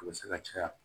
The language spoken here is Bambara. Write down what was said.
A bɛ se ka caya